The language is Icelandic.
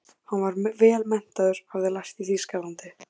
Hann var vel menntaður, hafði lært í Þýskalandi.